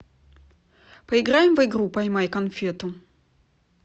поиграем в игру поймай конфету